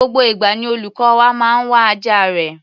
Gbogbo ìgbà ni olùkọ́ wa máa ń wá ajá rẹ̀.